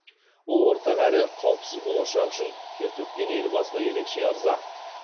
ол ортақ әрі қауіпсіз болашақ үшін тер төккен елбасына ерекше ырза